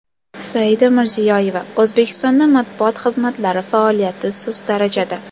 Saida Mirziyoyeva: O‘zbekistonda matbuot xizmatlari faoliyati sust darajada.